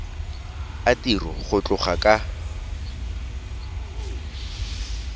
a tiro go tloga ka